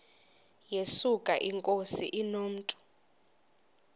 yesuka inkosi inomntu